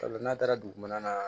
Sabula n'a taara dugu mana na